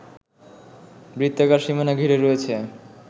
বৃত্তাকার সীমানা ঘিরে রয়েছে